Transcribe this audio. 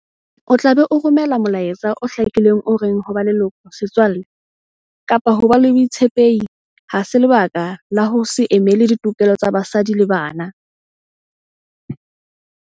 O tla be o romela molaetsa o hlakileng o reng ho ba leloko, setswalle kapa ho ba le botshepehi ha se lebaka la ho se emele ditokelo tsa basadi le bana.